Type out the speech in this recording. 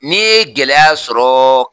N'i ye gɛlɛya sɔrɔɔ